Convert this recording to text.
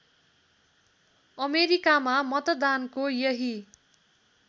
अमेरिकामा मतदानको यही